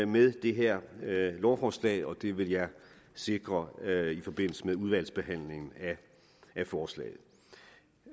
med det her lovforslag og det vil jeg sikre sker i forbindelse med udvalgsbehandlingen af forslaget